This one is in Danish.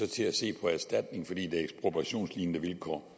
til at se på erstatning fordi det er ekspropriationslignende vilkår